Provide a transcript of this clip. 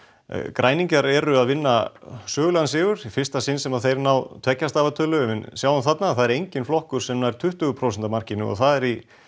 græningjar eru að vinna sögulegan sigur í fyrsta sinn sem þeir ná tveggja stafa tölu en við sjáum þarna að það er enginn flokkur sem nær tuttugu prósenta markinu og það er í